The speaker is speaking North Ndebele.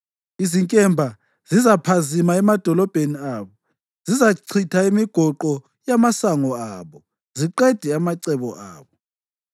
Izinkemba zizaphazima emadolobheni abo, zizachitha imigoqo yamasango abo ziqede amacebo abo.